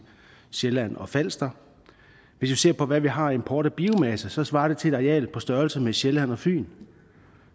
sjælland og falster hvis vi ser på hvad vi har af import af biomasse så svarer det til et areal på størrelse med sjælland og fyn